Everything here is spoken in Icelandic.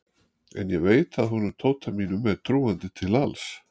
En ég veit að honum Tóta mínum er trúandi til alls.